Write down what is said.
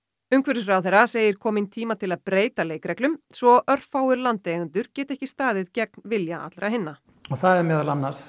umhverfisráðherra segir kominn tíma til að breyta leikreglum svo örfáir landeigendur geti ekki staðið gegn vilja allra hinna það meðal annars